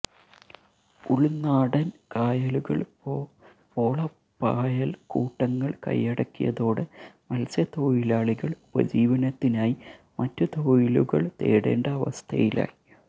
ഉൾനാടൻ കായലുകൾ പോളപ്പായൽക്കൂട്ടങ്ങൾ കൈയടക്കിയതോടെ മത്സ്യത്തൊഴിലാളികൾ ഉപജീവനത്തിനായി മറ്റു തൊഴിലുകൾ തേടേണ്ട അവസ്ഥയിലായി